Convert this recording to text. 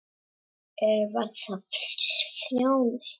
Eða var það Sjóni?